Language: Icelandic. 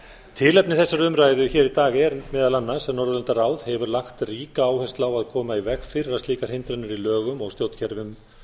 til efni þessarar umræðu hér í dag er meðal annars að norðurlandaráð hefur lagt ríka áherslu á að koma í veg fyrir að slíkar hindranir í lögum og stjórnkerfum